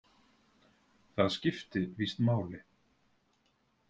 Það skipti víst máli.